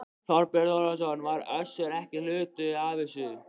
Þorbjörn Þórðarson: Var Össur ekki hluti af þessu?